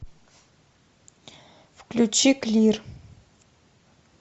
включи клир